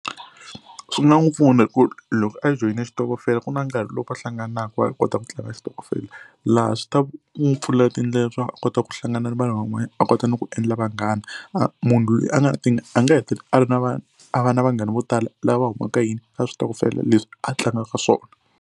Swi nga n'wi pfuna hi ku loko a joyine xitokofela ku na nkarhi lowu va hlanganaka va kota ku tlanga xitokofela laha swi ta n'wi pfula tindlela swa ku a kota ku hlangana na vanhu van'wana a kota ni ku endla vanghana. A munhu loyi a nga na tingana a nga hetelela a ri na va a va na vanghana vo tala lava humaka yini ka switokofela leswi a tlangaka swona.